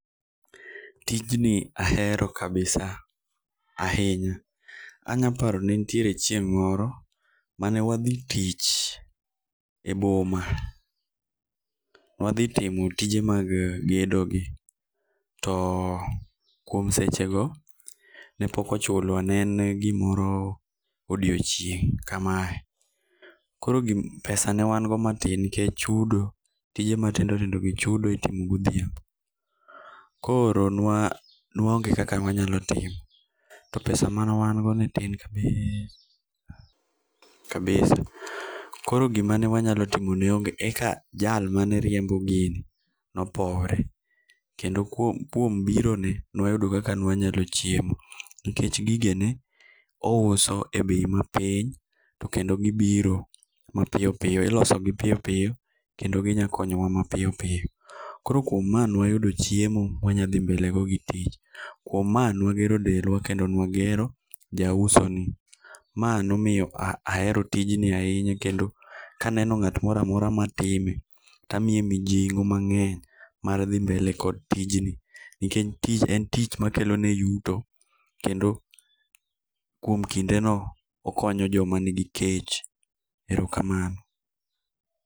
Tijni ahero kabisa ahinya. Anya paro ne nitiere chieng' moro mane wadhi tich e boma. Ne wadhi timo tije mag gedogi too kuom sechego ne pok ochulwa ne en gimoro odiechieng' kamae. Koro pesa ne wango matin nikech chudo tije matindo tindogi chudo itimo godhiambo. Koro nwa nwaonge kaka ne wanyalo timo to pesa mane wango ne tin kabisa kabisa. Koro gima ne wanyalo timo ne onge eka jal mane riembo gini ne opowore kendo kuom birone ne wayudo kaka ne wanyalo chiemo nikech gigene ne ouso ebei mapiny kendo gi biro mapiyo piyo ilosgi piyo piyo kendo gi nya konyowa mapiyo piyo. Koro kuom ma ne wayudo chiemo ma wanya dhii mbelego gi tich kuom maa ne wagero dendwa kendo nwagero ja usonii. Ma nomiyo ahero tijni ahinya kendo ka aneno ng'at moro amora matime to amiye mijingo mag'ey mar dhii mbele kod tijni nikech en tich makelone yuto kendo kuom kindeno okonyo joma nigi kech, Erokamano.